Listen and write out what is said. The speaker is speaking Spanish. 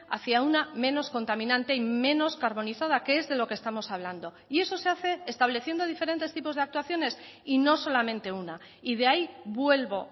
hacia una menos contaminante y menos carbonizada que es de lo que estamos hablando y eso se hace estableciendo diferentes tipos de actuaciones y no solamente una y de ahí vuelvo